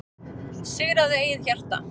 Sigraðu eigið hjarta,